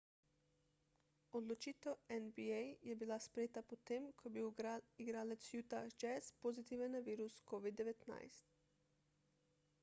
odločitev nba je bila sprejeta potem ko je bil igralec utah jazz pozitiven na virus covid-19